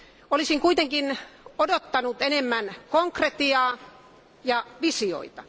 Olisin kuitenkin odottanut enemmän konkretiaa ja visioita.